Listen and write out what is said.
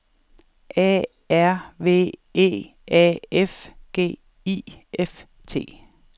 A R V E A F G I F T